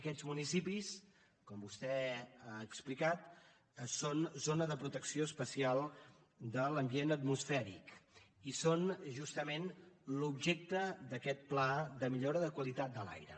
aquests municipis com vostè ha explicat són zona de protecció especial de l’ambient atmosfèric i són justament l’objecte d’aquest pla de millora de qualitat de l’aire